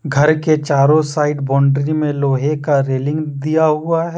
घर के चारों साइड बाउंड्री में लोहे का रेलिंग दिया हुआ है।